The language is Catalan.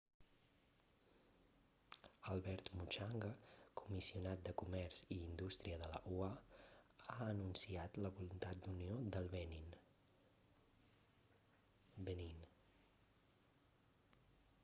albert muchanga comissionat de comerç i indústria de la ua ha anunciat la voluntat d'unió del benín